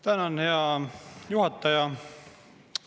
Tänan, hea juhataja!